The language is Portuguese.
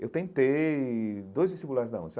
Eu tentei dois vestibulares da onde?